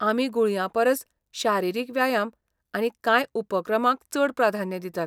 आमी गुळयां परस शारिरीक व्यायाम आनी कांय उपक्रमांक चड प्राधान्य दितात.